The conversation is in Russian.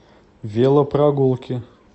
велопрогулки